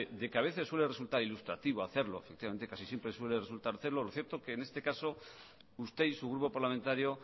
de que a veces suele resultar ilustrativo hacerlo efectivamente casi siempre suele resultar lo cierto que en este caso usted y su grupo parlamentario